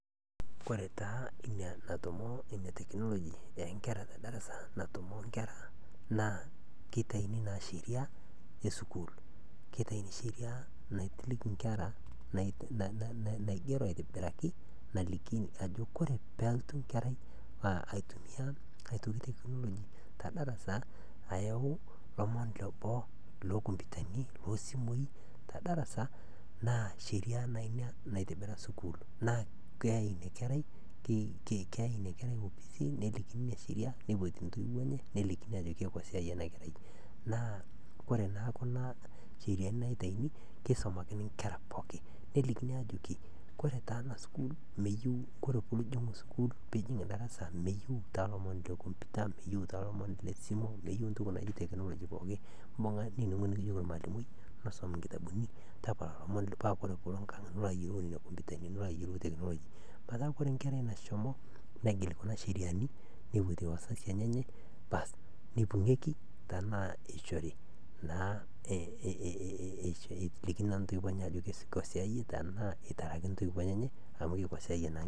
kore taa ina natommo ina ee teknologi ee inkera tee darassa natomo inkera naa keitaini naa sheria ee suukul ketaini sheria naitiliki inkera naigero aitobiraki naliki ajo oree pee elotu enkerai aitumia tee teknoloji tedarasa ayau ilomon tee boo ilo computure ani oo simui tedarasa naa sheria naa ina naitobbira sukul naa peyai ina kerai keyai ina kerai ofisini ee sheria netii ntoio enye nelikini ajoki kakua siai ena kerai naa oree naaa kuna sheriani naitayuni keisumakina inkera pookin nelikini ajoki ore taa ena sukul mayieu kurum piijing sukul piijing darasa meyieu taa ilomon le computer meyieu taa ilomon lee simuu meyeu entoki nakii teknoloji pokin bunga nijeki ormalimui niisum inkitabuni tapala ilomon meeta ore enkerai nashomonegil kuna sheriani neipoyi intoiuo enyenek bass neibungieki tenaa eishori naa ajoki kee siai iyieu tenaa itara ake intoiwuo enyenek amoeikosaiye naa.